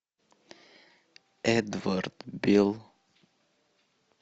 эдвард бил